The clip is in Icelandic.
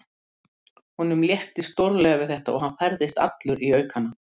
Hann hjálpar mér á fætur og leiðir mig inn í nálægt baðherbergi.